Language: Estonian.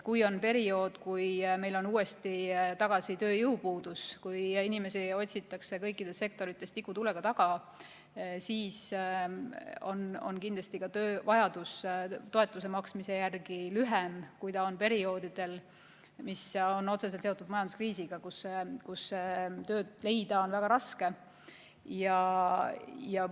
Kui on periood, kui meil on uuesti tagasi tööjõupuudus ja kui inimesi otsitakse kõikides sektorites tikutulega taga, siis on kindlasti ka vajadus toetuse maksmise järele lühem, kui see on perioodidel, mis on otseselt seotud majanduskriisiga, kui tööd leida on väga raske.